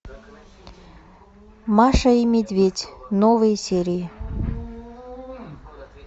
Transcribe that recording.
маша и медведь новые серии